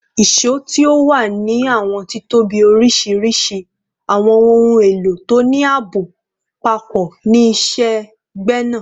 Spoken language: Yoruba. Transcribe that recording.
ìṣó ti o wa ni awọn titobi oriṣiriṣi, awọn ohun elo to ni aabo papọ ni iṣẹ-gbẹna